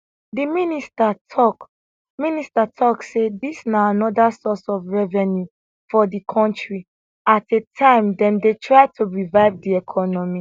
di minister tok minister tok say dis na anoda source of revenue for di kontri at a time dem dey try to revive di economy